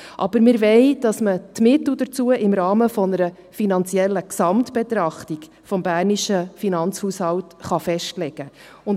Aber wir wollen, dass man die Mittel dazu im Rahmen einer finanziellen Gesamtbetrachtung des bernischen Finanzhaushalts festlegen kann.